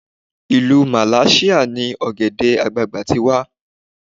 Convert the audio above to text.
ilu malasia ni ògèdè àgbagbà ti wà